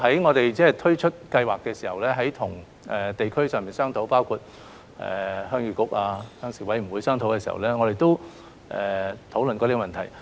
我們在推出資助計劃的時候，曾在地區上與包括新界鄉議局、鄉事委員會討論這個問題。